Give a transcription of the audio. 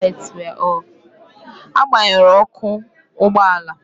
Agbanyụrụ Ọkụ ụgbọ ala